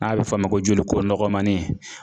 N'a bɛ f'a ma ko joliko nɔgɔmani